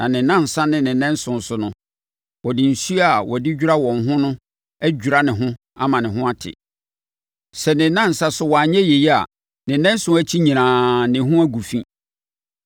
Na ne nnansa ne ne nnanson so no, ɔde nsuo a wɔde dwira wɔn ho no adwira ne ho ama ne ho ate. Sɛ ne nnansa so wanyɛ yei a, ne nnanson akyi nyinaa na ne ho agu fi.